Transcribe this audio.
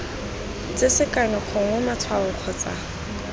tse sekano gongwe matshwao kgotsa